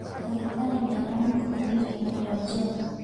Ndagitarĩ nĩ aramũkanirie kũnyũa njohi.